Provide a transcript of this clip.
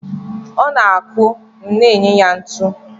Ọ na-akụ, m na-enye ya ntu.